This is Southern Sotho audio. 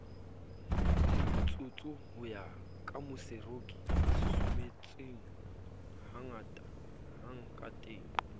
lemotsotso ho ya kamooseroki sesusumetsehangkateng